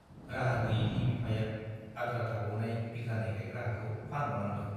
राहा गैयैनि बिफाया आद्रा थाबावनाय बिघानै गाइग्रा हाखौ फानबावनांदों ।